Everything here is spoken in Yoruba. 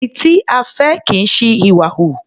Ẹni tí a fẹ́ kì í ṣi ìwà hù.